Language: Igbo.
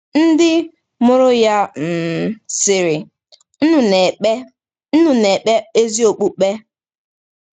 Ndị mụrụ ya um sịrị: “Unu na-ekpe “Unu na-ekpe ezi okpukpe.”